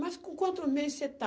Mas com quantos meses você está?